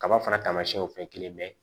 Kaba fana taamasiyɛnw fɛ kelen mɛ